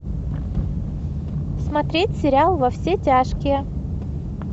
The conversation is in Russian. смотреть сериал во все тяжкие